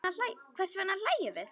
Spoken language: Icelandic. Hvers vegna hlæjum við?